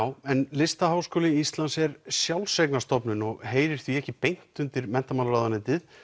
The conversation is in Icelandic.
listaháskóli Íslands er sjálfseignarstofnun og heyrir því ekki beint undir menntamálaráðuneytið